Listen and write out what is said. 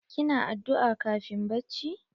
Ki na addu'a kafin bacci?